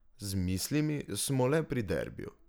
Z mislimi smo le pri derbiju.